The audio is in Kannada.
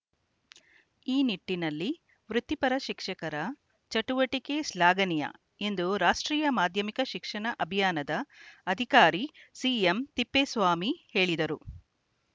ಈ ನಿಟ್ಟಿನಲ್ಲಿ ವೃತ್ತಿಪರ ಶಿಕ್ಷಕರ ಚಟುವಟಿಕೆ ಶ್ಲಾಘನೀಯ ಎಂದು ರಾಷ್ಟ್ರೀಯ ಮಾಧ್ಯಮಿಕ ಶಿಕ್ಷಣ ಅಭಿಯಾನದ ಅಧಿಕಾರಿ ಸಿಎಂತಿಪ್ಪೇಸ್ವಾಮಿ ಹೇಳಿದರು